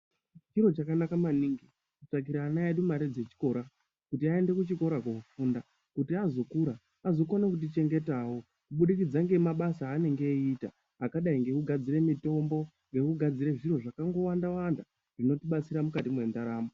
Chiro chakanaka maningi, kutsvakira ana edu mari dzechikora kuti aende kuchikora koofunda, kuti azokura anokwanisa kutichengetawo kubudikidza ngemabasa eanenge achiita, akadai ngekugadzire mitombo, nekugadzire zviro zvakawanda-wanda zvinotibatsira mukati mendaramo.